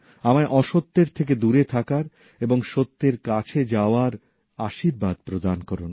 আমায় অসত্যের থেকে দূরে থাকার এবং সত্যের কাছে যাওয়ার আশীর্বাদ প্রদান করুন